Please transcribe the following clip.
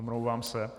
Omlouvám se.